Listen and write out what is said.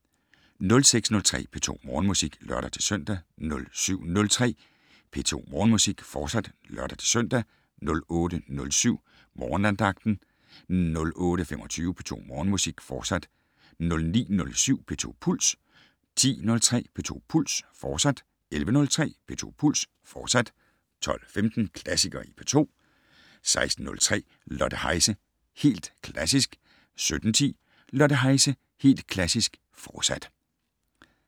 06:03: P2 Morgenmusik (lør-søn) 07:03: P2 Morgenmusik, fortsat (lør-søn) 08:07: Morgenandagten 08:25: P2 Morgenmusik, fortsat 09:07: P2 Puls 10:03: P2 Puls, fortsat 11:03: P2 Puls, fortsat 12:15: Klassikere i P2 16:03: Lotte Heise - Helt Klassisk 17:10: Lotte Heise - Helt Klassisk, fortsat